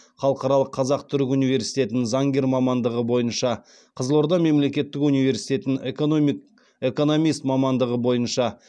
халықаралық қазақ түрік университетін заңгер мамандығы бойынша қызылорда мемлекеттік университетін экономист мамандығы бойынша